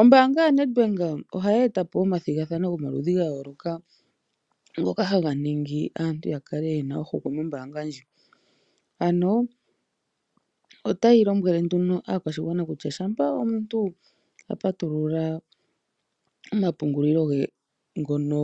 Ombaanga ya Nedbank ohaya etapo omathigathano gomaludhi ga yooloka ngoka haga ningi aantu yakale yena ohokwe mombaanga ndjika, ano otayi lombwele aakwashigwana kutya shampa omuntu a patulula omapungulilo ge ngono